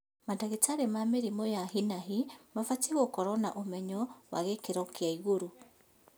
Mandagĩtarĩ ma mĩrimũ ya hi na hi mabatiĩ gũkorwo na ũmenyo wa gĩkĩro kĩa igũrũ